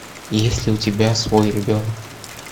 есть ли у тебя свой ребенок